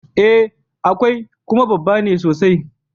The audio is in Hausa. E, akwai, kuma babba ne sosai.